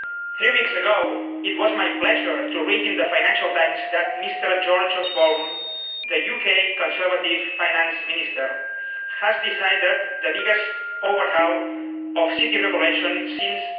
Three weeks ago, it was my pleasure to read in the Financial Times that Mr George Osborne, the UK Conservative Finance Minister, has decided the biggest overhaul of City regulation since